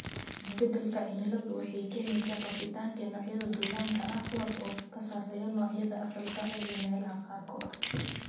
Isbeddelka cimiladu waxay keenaysaa faafitaanka noocyada duullaanka ah, kuwaas oo ka sarreeya noocyada asalka ah ee meelaha qaarkood.